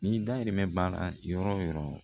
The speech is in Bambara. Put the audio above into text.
N'i dayirimɛ b'a la yɔrɔ o yɔrɔ